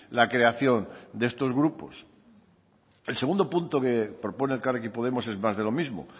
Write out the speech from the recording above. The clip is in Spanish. la creación de estos grupos el segundo punto que propone elkarrekin podemos es más de lo mismo